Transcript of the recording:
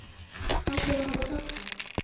Heldurðu að það hafi hjálpað?